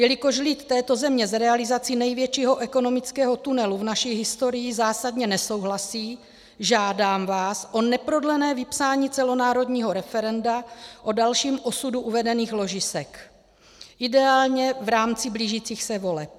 Jelikož lid této země s realizací největšího ekonomického tunelu v naší historii zásadně nesouhlasí, žádám vás o neprodlené vypsání celonárodního referenda o dalším osudu uvedených ložisek, ideálně v rámci blížících se voleb.